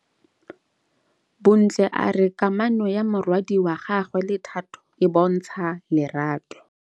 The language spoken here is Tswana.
Bontle a re kamanô ya morwadi wa gagwe le Thato e bontsha lerato.